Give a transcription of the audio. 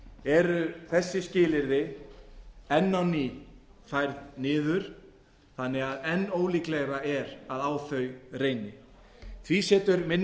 eru þessi skilyrði enn á ný færð niður þannig að enn líklegra er að á þau reyni því leggur minni